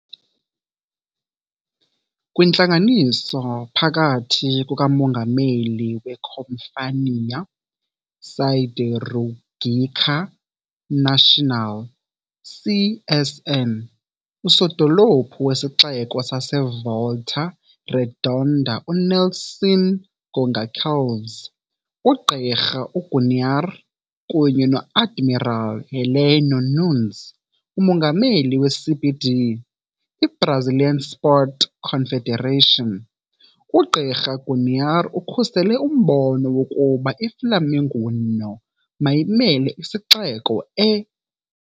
Kwintlanganiso phakathi kukamongameli weCompanhia Siderúrgica Nacional, CSN, Usodolophu wesixeko saseVolta Redonda uNelson Gonçalves, uGqirha Guanayr kunye no-Admiral Heleno Nunes, umongameli we-CBD, i-Brazilian Sports Confederation, uGqirha Guanayr ukhusele umbono wokuba iFlamenguinho mayimele isixeko e.